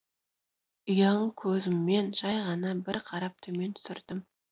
ұяң көзіммен жай ғана бір қарап төмен түсірдім